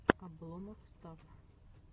обломофф стафф